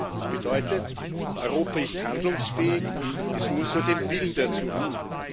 Das bedeutet Europa ist handlungsfähig es muss nur den Willen dazu haben.